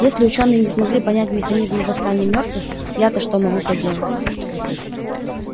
если учёные не смогли понять механизмы восстания мёртвых ято что могу поделать